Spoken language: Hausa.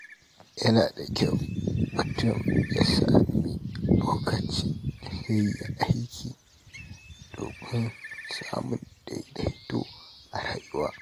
Yana da kyau mutum ya sami lokacin da zai yi aiki, domin samun daidaito a rayuwa.